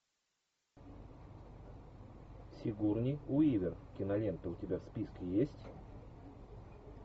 сигурни уивер кинолента у тебя в списке есть